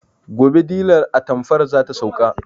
Gobe dilar atamfar zata sauka